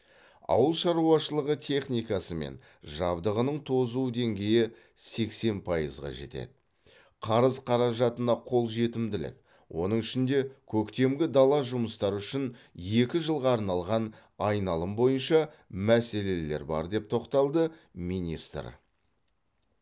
ауыл шаруашылығы техникасы мен жабдығының тозу деңгейі сексен пайызға жетеді қарыз қаражатына қолжетімділік оның ішінде көктемгі дала жұмыстары үшін екі жылға арналған айналым бойынша мәселелер бар деп тоқталды министр